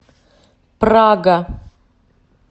прага